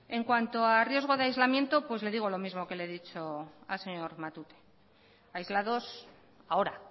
en cuanto a riesgo de aislamiento le digo lo mismo que le he dicho al señor matute aislados ahora